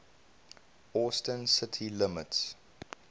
austin city limits